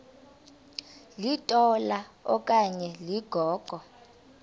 litola okanye ligogo